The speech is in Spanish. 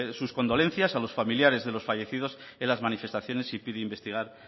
sus condolencias a los familiares de los fallecidos en las manifestaciones y pida investigar